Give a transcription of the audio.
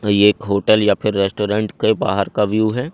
और ये एक होटल या फिर रेस्टोरेंट के बाहर का व्यू है।